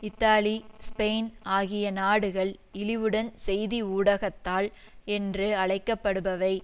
Italy Spain ஆகிய நாடுகள்இழிவுடன் செய்தி ஊடகத்தால் என்று அழைக்கப்படுபவை